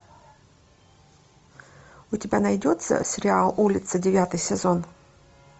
у тебя найдется сериал улица девятый сезон